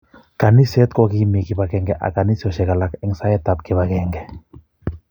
Kaniset kokimii kipangenge ak kanisiosek alak eng saet ab kipangenge